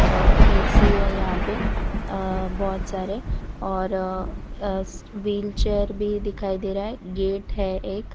और ए_सी है यहां पे अं बहोत सारे और अं अ व्हीलचेयर भी दिखाई दे रहा है गेट है एक।